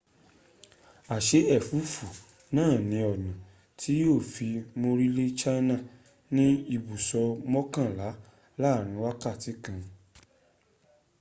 a se efufu naa ni ona ti yio fi morile china ni ibuso mokanla laarin wakati kan